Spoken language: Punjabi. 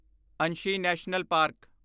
Anshi national park